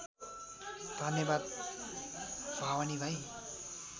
धन्यवाद भवानी भाइ